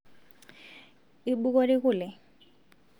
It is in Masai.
ibukori kule